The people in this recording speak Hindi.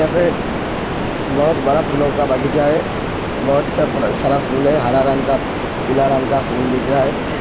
यहां पे बोहोत बड़ा फूलों का बागीचा है। बोहोत सब सा सारा फूल है। हरा रंग का पीला रंग का फूल दिख रहा है।